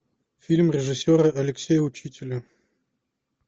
фильм режиссера алексея учителя